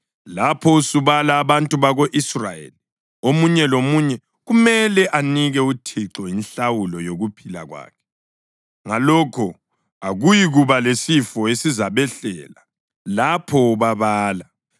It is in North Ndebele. “Lapho usubala abantu bako-Israyeli omunye lomunye kumele anike uThixo inhlawulo yokuphila kwakhe. Ngalokho akuyikuba lesifo esizabehlela lapho ubabala.